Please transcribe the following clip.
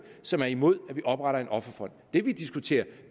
som er imod at vi opretter en offerfond det vi diskuterer